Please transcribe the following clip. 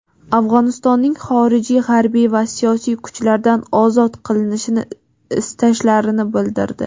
Afg‘onistonning xorijiy harbiy va siyosiy kuchlardan ozod qilinishini istashlarini" bildirdi".